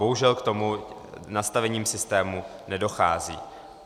Bohužel k tomu nastavením systému nedochází.